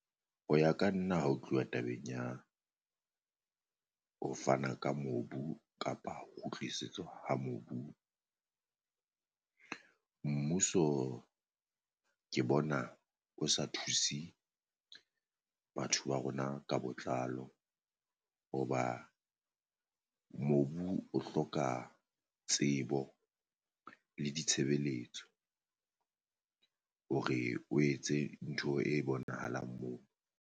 Ho ya ka nna ha o tluwa tabeng ya ho fana ka mobu kapa ho tlisetswa ha mobu mmuso ke bona o sa thuse batho ba rona ka botlalo, hoba mobu o hloka tsebo le ditshebeletso hore o etse ntho e bonahalang moo.